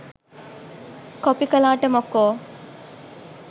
Copy කළාට මොකෝ?